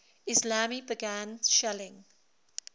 islami began shelling